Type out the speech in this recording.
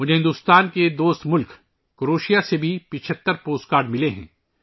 مجھے ہندوستان کے دوست ملک کروشیا سے بھی 75 پوسٹ کارڈ ملے ہیں